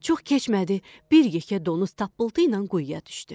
Çox keçmədi, bir yekə donuz tappıltı ilə quyuya düşdü.